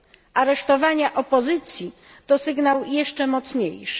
Aresztowania opozycji to sygnał jeszcze mocniejszy.